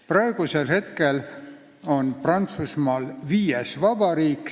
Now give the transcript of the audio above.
Praegu on Prantsusmaal viies vabariik.